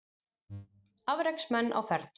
Afreksmenn á ferð